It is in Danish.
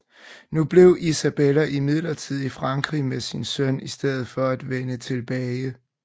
Nu blev Isabella imidlertid i Frankrig med sin søn i stedet for at vende tilbage